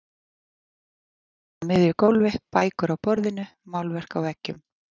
Útskorið skrifborð á miðju gólfi, bækur á borðinu, málverk á veggjum.